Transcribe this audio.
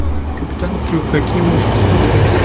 капитан крюк какие можешь посмотреть